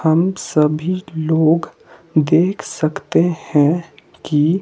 हम सभी लोग देख सकते है कि--